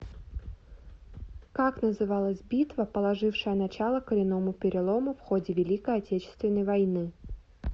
как называлась битва положившая начало коренному перелому в ходе великой отечественной войны